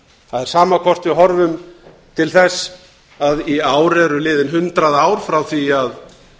það er sama hvort við horfum til þess að í ár eru liðin hundrað ár frá því að